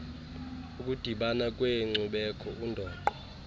ukudibana kweenkcubeko undoqo